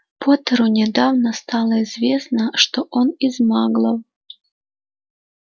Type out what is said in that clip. поттеру недавно стало известно что он из маглов